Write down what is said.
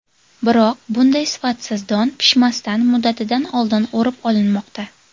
Biroq, bunday sifatsiz don pishmasdan, muddatidan oldin o‘rib olinmoqda.